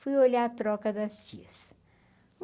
Fui olhar a troca das tias.